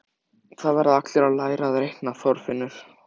Það verða allir að læra að reikna, Þorfinnur